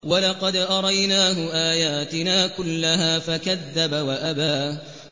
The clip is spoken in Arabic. وَلَقَدْ أَرَيْنَاهُ آيَاتِنَا كُلَّهَا فَكَذَّبَ وَأَبَىٰ